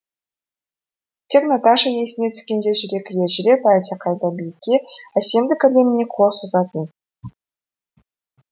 тек наташа есіне түскенде жүрегі елжіреп әлдеқайда биікке әсемдік әлеміне қол созатын